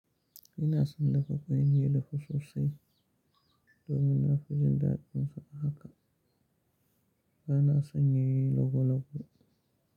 Ina son dafa ƙwai, ni ya dafu sosai domin na fi jin daɗinsa haka. Bana son yayi logo logo.